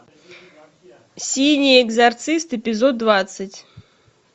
синий экзорцист эпизод двадцать